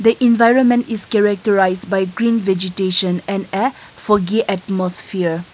environment is characterized by green vegetation and a foggy atmosphere.